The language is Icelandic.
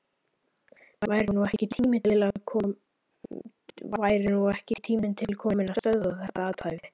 Væri nú ekki tími til kominn að stöðva þetta athæfi?